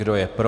Kdo je pro?